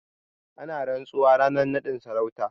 Ana rantsuwa ranar naɗin sarauta.